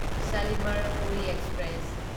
Shalimar Puri express